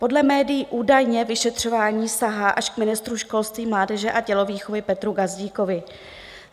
Podle médií údajně vyšetřování sahá až k ministru školství, mládeže a tělovýchovy Petru Gazdíkovi.